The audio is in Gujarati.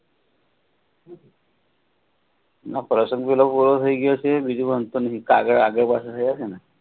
કાગળ આગળ વસો છે ને